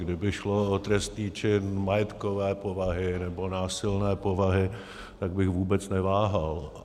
Kdyby šlo o trestný čin majetkové povahy nebo násilné povahy, tak bych vůbec neváhal.